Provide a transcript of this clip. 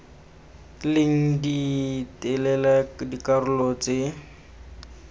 leng di telele dikarolo tse